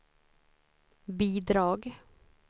bidrag